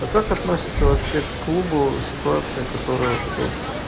а как относится вообще к клубу ситуация которая вот это вот